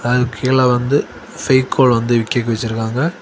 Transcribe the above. இது கீழ வந்து ஃபெவிக்கால் வந்து விக்கிறதுக்கு வச்சிருக்காங்க.